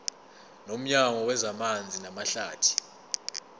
nomnyango wezamanzi namahlathi